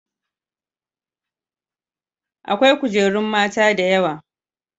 Aƙwai gajerun mata da Yawa.